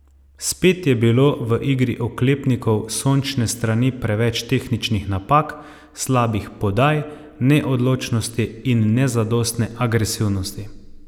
Spet je bilo v igri oklepnikov s sončne strani preveč tehničnih napak, slabih podaj, neodločnosti in nezadostne agresivnosti.